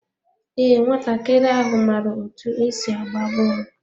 Ee, nwatakịrị ahụ maara otú e si agba bọọlụ.